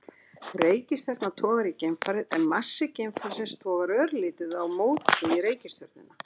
reikistjarna togar í geimfarið en massi geimfarsins togar örlítið á móti í reikistjörnuna